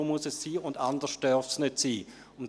«So muss es sein, und anders darf es nicht sein.»